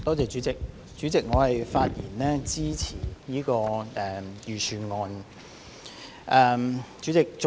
代理主席，我發言支持這份財政預算案。